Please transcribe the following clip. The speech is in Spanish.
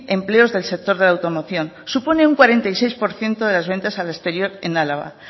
empleos del sector de la automoción supone un cuarenta y seis por ciento de las ventas al exterior en álava